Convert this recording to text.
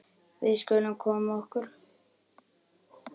Við skulum þá koma okkur.